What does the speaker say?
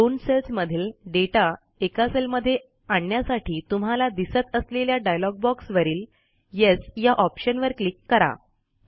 दोन सेल्समधील दाता एका सेल मध्ये आणण्यासाठी तुम्हाला दिसत असलेल्या डायलॉग बॉक्सवरील येस या ऑप्शनवर क्लिक करा